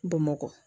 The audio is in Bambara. Bamakɔ